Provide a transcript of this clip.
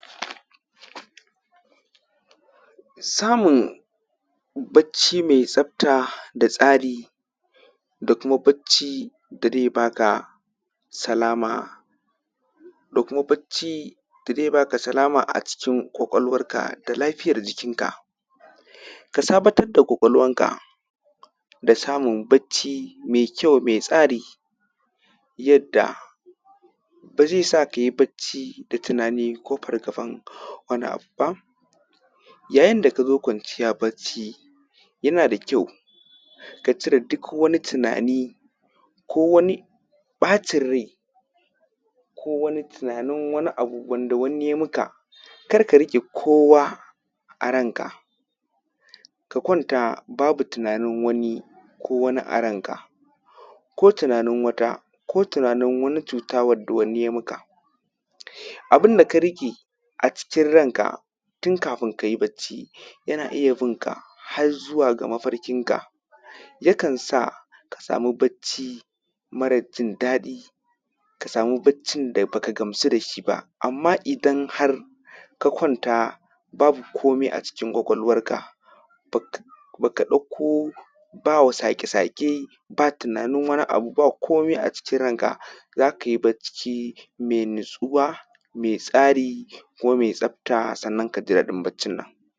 Samun bacci me tsafta da tsari da kuma bacci da ze baka salama da kuma bacci da ze baka salama a cikin kwakwalwanka da lafiyar jikinka ka sabatra da kwakwal wanka da samun bacci me kyau me tsari yadda ba ze sa kai bacci da tunani ko fargaban wani abu ba, yayin da ka zo kwanciya bacci yana da kyau ka cire duk wani tunani ko wani ɓacin rai ko wani tunanin wani abu wanda wani yayi maka kariƙe kowa a kanka ka kwanta babu tunanin wani ko wani a ranka ko tunanin wata ko tunanin wata cutta wanda wani aim aka abun da ka riƙe a cikin ranka tun kafunka bacci yana iya bin ka har zuga mafarƙinka yakan saka samu bacci mara jin daɗi ka samu baccin da ba ka gamsu da shi ba, amma idan har ka kwanta babu komai a cikin kwakwalwanka ba ka ba ka ɗauko ba saƙe-saƙe ba tunanin wani abu babu komai a cikin ranka za ka yi bacci me natsuwa me tsari kuma me tsafta, sannan ka ji daɗin baccin nan.